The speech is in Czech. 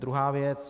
Druhá věc.